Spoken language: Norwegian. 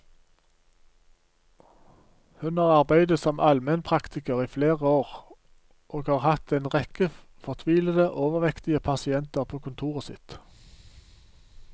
Hun har arbeidet som almenpraktiker i flere år og har hatt en rekke fortvilede, overvektige pasienter på kontoret sitt.